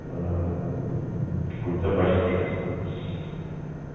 ээ какой запачкавшийся